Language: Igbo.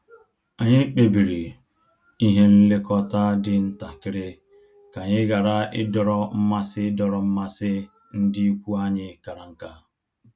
Anyị kpebiri ihe nlekọta dị ntakịrị ka anyị ghara idọrọ mmasị idọrọ mmasị ndị ikwu anyị kara nka